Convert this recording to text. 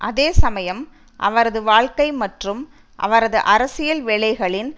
அதே சமயம் அவரது வாழ்க்கை மற்றும் அவரது அரசியல் வேலைகளின்